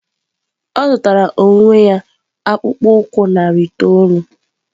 Ọ zụtara onwe ya akpụkpọ ụkwụ narị itoolu.